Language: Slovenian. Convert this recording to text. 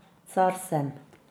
Car sem.